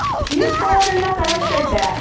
ನಿಂತ್ಕೊಳ್ಳೋರೆಲ್ಲಾ corruptedಡೆ